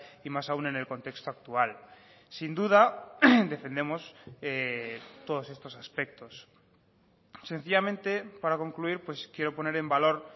y más aun en el contexto actual sin duda defendemos todos estos aspectos sencillamente para concluir quiero poner en valor